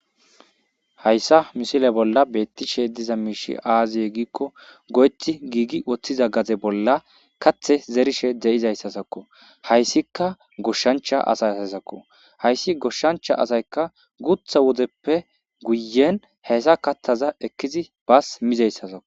hayssa misile bolla beettishe diza miishi aaziye giikko go7eti giigi woththiza gaze bolla kathe zerishe deyizayssasakko hayssika goshshancha asay asasakko hayssi goshshancha asayka gutha wodeppe guyen hayssa kattaza ekkizi baas mizayssasako